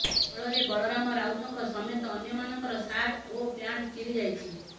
ଫଳରେ ବଳରାମ ରାଉତଙ୍କ ସମେତ ଅନ୍ୟମାନଙ୍କର ସାର୍ଟ ଓ ପ୍ୟାଣ୍ଟ ଚିରି ଯାଇଛି